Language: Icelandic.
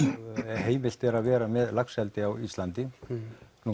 heimilt er að vera með laxeldi á Íslandi nú